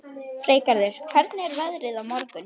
Freygarður, hvernig er veðrið á morgun?